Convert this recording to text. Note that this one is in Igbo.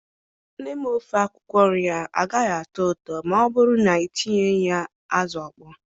Nne m ofe akwukwo nria agaghị atọ ụtọ ma ọ bụrụ na ị tinyeghị ya azụ ọkpọ.